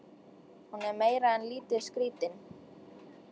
Hún er meira en lítið skrítin.